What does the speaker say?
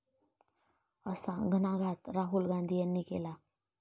असा घणाघात राहुल गांधी यांनी केला.